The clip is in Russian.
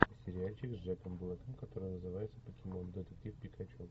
сериальчик с джеком блэком который называется покемон детектив пикачу